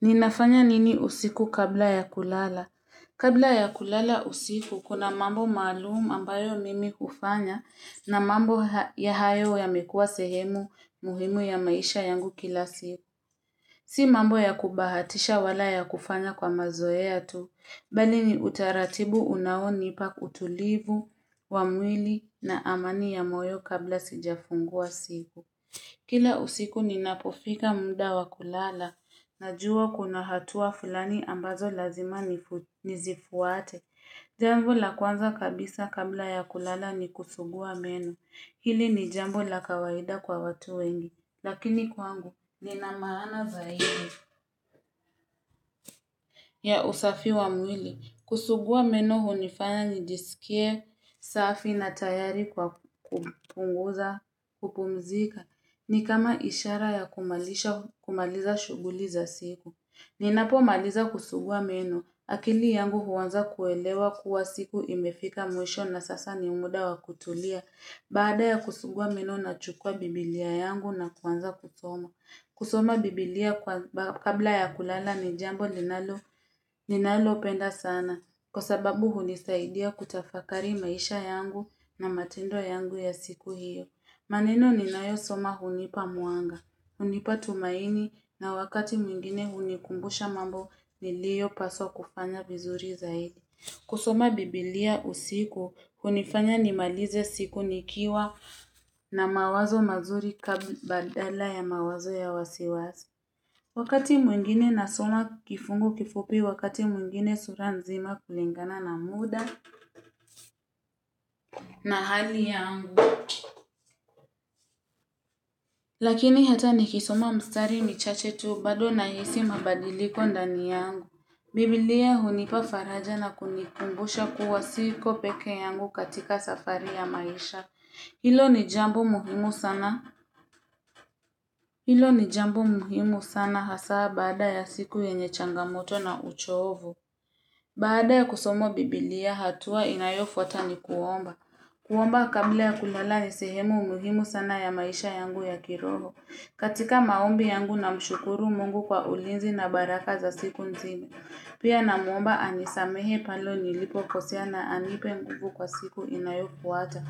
Ninafanya nini usiku kabla ya kulala? Kabla ya kulala usiku, kuna mambo maalumu ambayo mimi hufanya na mambo hayo yamekuwa sehemu muhimu ya maisha yangu kila siku. Si mambo ya kubahatisha wala ya kufanya kwa mazoea tu, bali ni utaratibu unaonipa utulivu, wa mwili na amani ya moyo kabla sijafungua siku. Kila usiku ninapofika munda wa kulala. Najua kuna hatua fulani ambazo lazima nizifuate. Jambo la kwanza kabisa kabla ya kulala ni kusugua meno. Hili ni jambo la kawaida kwa watu wengi. Lakini kwangu nina maana zaidi ya usafi wa mwili. Kusugua meno hunifanya nijisikie, safi na tayari kwa kupumzika. Ni kama ishara ya kumaliza shuguli za siku. Ninapomaliza kusugua meno, akili yangu huanza kuelewa kuwa siku imefika mwisho na sasa ni muda wa kutulia. Baada ya kusugua meno nachukua bibilia yangu na kuanza kuisoma. Kusoma bibilia kabla ya kulala ni jambo ninalopenda sana kwa sababu hunisaidia kutafakari maisha yangu na matendo yangu ya siku hiyo. Maneno ninayo soma hunipa mwanga, hunipa tumaini na wakati mwingine hunikumbusha mambo niliyo paswa kufanya vizuri zaidi. Kusoma bibilia usiku, hunifanya nimalize siku nikiwa na mawazo mazuri badala ya mawazo ya wasiwasi. Wakati mwingine nasoma kifungu kifupi, wakati mwingine sura nzima kulingana na muda na hali yangu. Lakini hata nikisoma mstari michache tu, bado nahisi mabadiliko ndani yangu. Bibilia hunipa faraja na kunikumbusha kuwa siko pekee yangu katika safari ya maisha. Hilo ni jambo muhimu sana hasaa baada ya siku yenye changamoto na uchovu. Baada ya kusoma Bibilia hatua inayofuata ni kuomba. Kuomba kabla ya kulala ni sehemu muhimu sana ya maisha yangu ya kiroho. Katika maombi yangu na namshukuru mungu kwa ulinzi na baraka za siku nzima. Pia namuomba anisamehe pale nilipokosea na anipe nguvu kwa siku inayofuata.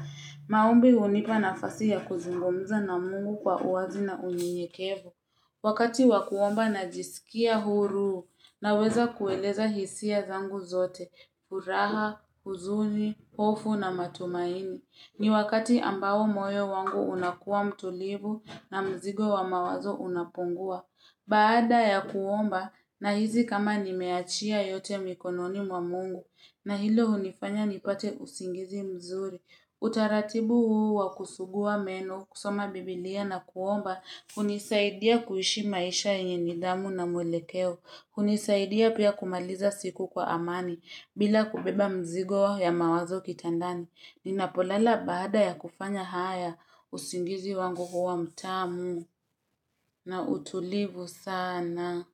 Maombi hunipa nafasi ya kuzungumza na mungu kwa uwazi na unyekevu. Wakati wa kuomba najisikia huru naweza kueleza hisia zangu zote, furaha, huzuni, hofu na matumaini. Ni wakati ambao moyo wangu unakuwa mtulivu na mzigo wa mawazo unapungua. Baada ya kuomba nahisi kama nimeachia yote mikononi mwa mungu na hilo hunifanya nipate usingizi mzuri. Utaratibu huu wa kusugua meno, kusoma biblia na kuomba, hunisaidia kuishi maisha yenye nidhamu na mwelekeo. Hunisaidia pia kumaliza siku kwa amani bila kubeba mzigo ya mawazo kitandani. Ninapolala baada ya kufanya haya usingizi wangu huwa mtamu na utulivu sana.